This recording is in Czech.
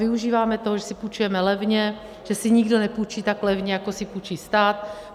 Využíváme toho, že si půjčujeme levně, že si nikdo nepůjčí tak levně, jako si půjčí stát.